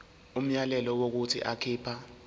umyalelo wokuthi akhipha